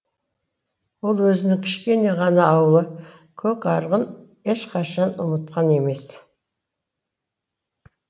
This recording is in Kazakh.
ол өзінің кішкене ғана ауылы көкарығын ешқашан ұмытқан емес